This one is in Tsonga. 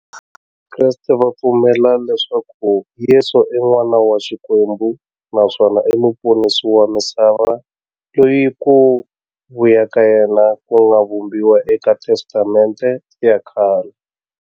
Vakreste va pfumela leswaku Yesu i n'wana wa Xikwembu naswona i muponisi wa misava, loyi ku vuya ka yena ku nga vhumbiwa eka Testamente ya khale.